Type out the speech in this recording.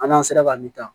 An'an sera ka min ta